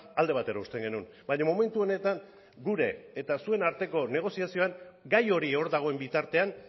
alde batera uzten genuen baina momentu honetan gure eta zuen arteko negoziazioan gai hori hor dagoen bitartean